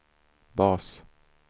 bas